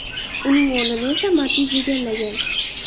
Uning o‘rnini esa Matiz egallagan.